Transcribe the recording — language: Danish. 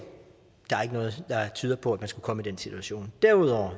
der er ikke noget der tyder på at man skulle komme i den situation derudover